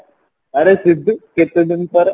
ଆରେ କେତେ ଦିନ ପରେ